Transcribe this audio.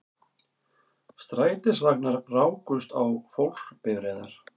Strætisvagnar rákust á fólksbifreiðar